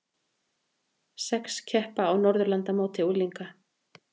Sex keppa á Norðurlandamóti unglinga